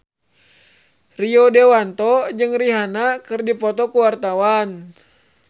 Rio Dewanto jeung Rihanna keur dipoto ku wartawan